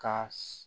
Ka